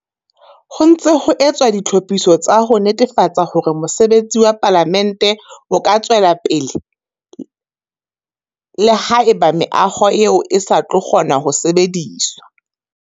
Ho ntse ho etswa ditlhophiso tsa ho netefatsa hore mosebetsi wa Palamente o ka tswella le haeba meaho eo e sa tlo kgona ho sebediswa.